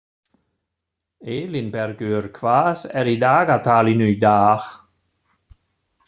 Elínbergur, hvað er í dagatalinu í dag?